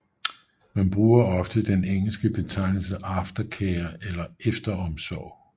Man bruger ofte den engelske betegnelse aftercare eller efteromsorg